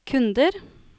kunder